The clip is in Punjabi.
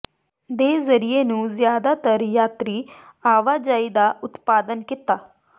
ਦੇ ਜ਼ਰੀਏ ਇਸ ਨੂੰ ਜ਼ਿਆਦਾਤਰ ਯਾਤਰੀ ਆਵਾਜਾਈ ਦਾ ਉਤਪਾਦਨ ਕੀਤਾ